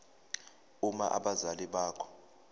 uma abazali bakho